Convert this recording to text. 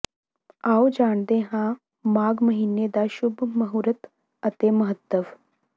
ਆਓ ਜਾਣਦੇ ਹਾਂ ਮਾਘ ਮਹੀਨੇ ਦਾ ਸ਼ੁੱਭ ਮਹੂਰਤ ਅਤੇ ਮਹੱਤਵ